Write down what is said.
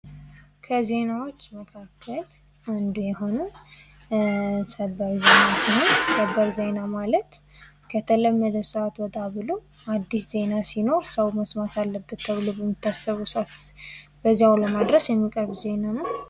ከዜናዎች መካከል አንዱ የሆነው ሰበር ዜና ሲሆን ሰበር ዜና ማለት ከለተመደ ሰአት ወጣ ብሎ አዲስ ዜና ሲኖር ሰው መስማት አለበት ተብሎ በሚታሰበው ሰአት በዛው ለማድረስ የሚቀርብ ዜና ነው።